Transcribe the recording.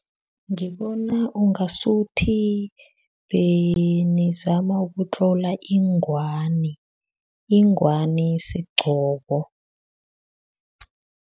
Ngibona ungasuthi benizama ukutlola ingwani. Ingwani sigqoko.